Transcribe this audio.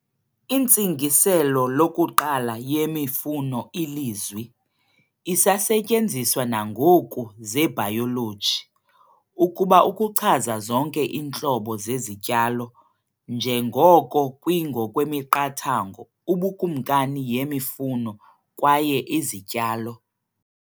Intsingiselo lokuqala yemifuno ilizwi, isasetyenziswa nangoku zebhayoloji, ukuba ukuchaza zonke iintlobo zezityalo, njengoko kwi ngokwemiqathango "ubukumkani yemifuno" kwaye "izityalo".